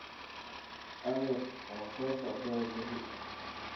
Adeer waa soo socdaa berri